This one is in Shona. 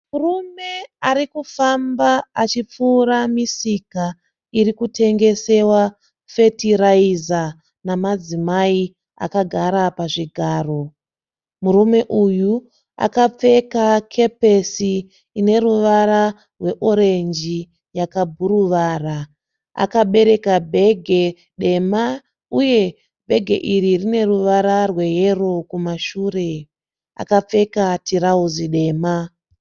Murume arikufamba achipfuura misika irikutengesewa fetiraiza namadzimai akagara pazvigaro. Murume uyu akapfeka kepesi ineruvara rweorenji yakabhuruvara. Akabereka bhege dema uye bhege iri rine ruvara rweyero kumashure. Akapfeka tirauzi dema.